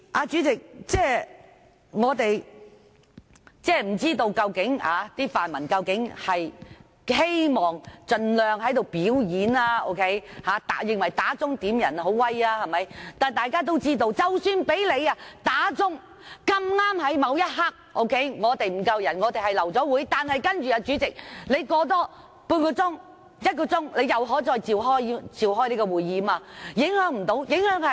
主席，我不知道泛民是否希望盡量在此"表演"，是否認為響鐘點算法定人數很厲害，但大家都知道，即使響鐘碰巧在某一刻沒有足夠法定人數，因而流會，但主席在半小時或一小時後又可再召開會議。